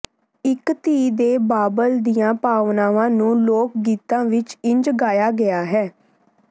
ਇਕ ਧੀ ਦੇ ਬਾਬਲ ਦੀਆਂ ਭਾਵਨਾਵਾਂ ਨੂੰ ਲੋਕ ਗੀਤਾਂ ਵਿਚ ਇੰਜ ਗਾਇਆ ਗਿਆ ਹੈ